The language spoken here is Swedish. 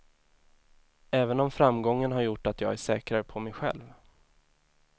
Även om framgången har gjort att jag är säkrare på mig själv.